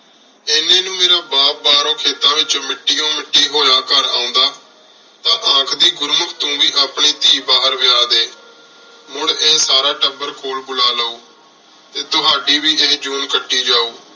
ਏਨੀ ਨੂ ਮੇਰਾ ਬਾਪ ਬਾਹਰੋਂ ਖੇਤਾਂ ਵਿਚੋਂ ਮਿਟਿਓ ਮਿੱਟੀ ਹੋਯਾ ਘਰ ਆਉਂਦਾ ਤਾਆਖਦੀ ਗੁਰੂ ਮੁਖ੍ਤੁਮ੍ਬੀ ਆਪਣੀ ਟੀ ਬਾਹਰ ਵਯ ਡੀ ਹੁਣ ਆਯ ਸਾਰਾ ਟੱਬਰ ਕੋਲ ਬੁਲਾ ਲੂ ਟੀ ਤੁਹਾਡੀ ਵੀ ਇੰਜ ਜੋਉਣ ਕੱਟੀ ਜੋ